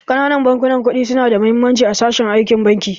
Ƙananan bankunan kuɗi su na da muhimmanci a sashen aikin banki